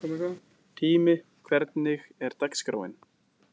Tími, hvernig er dagskráin?